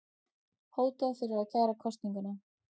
Hótað fyrir að kæra kosninguna